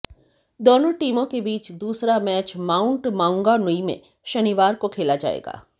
दोनों टीमों के बीच दूसरा मैच माउंट माउंगानुई में शनिवार को खेला जाएगा